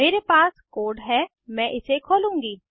मेरे पास कोड है मैं इसे खोलूंगी